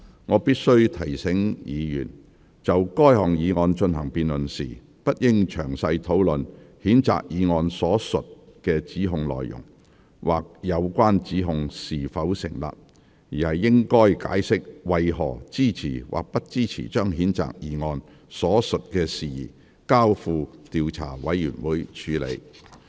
我必須提醒議員，就該議案進行辯論時，不應詳細討論譴責議案所述的指控內容，或有關指控是否成立，而應解釋為何支持或不支持將譴責議案所述的事宜，交付調查委員會處理。